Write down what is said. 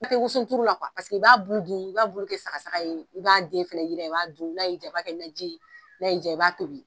la i b'a bulu dun i b'a bulu kɛ sagasaga ye i b'a den fɛnɛ i b'a dun n'a y'i diya i b'a kɛ naji ye n'a y'i diya i b'a tobi